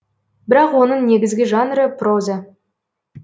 бірақ оның негізгі жанры проза